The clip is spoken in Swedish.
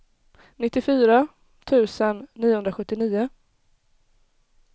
nittiofyra tusen niohundrasjuttionio